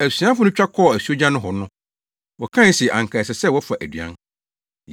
Asuafo no twa kɔɔ asuogya nohɔ no, wɔkae se anka ɛsɛ sɛ wɔfa aduan.